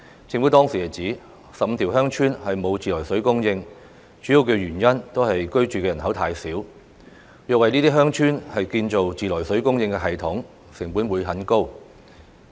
政府當時指，有15條鄉村沒有自來水供應的主要原因都是居住人口太少，若要為這些鄉村建造自來水供應系統，成本就會很高。